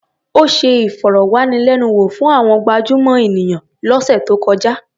Ó ṣe ìfọ̀rọ̀wánilẹ́nuwò fún àwọn gabjúmọ̀ ènìyàn lọ́sẹ̀ tó kọjá.